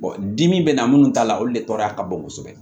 dimi bɛ na minnu ta la olu de tɔgɔya ka bon kosɛbɛ